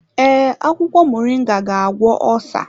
Ee, akwụkwọ moringa ga-agwọ osa.